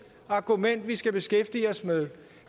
argument vi skal beskæftige os med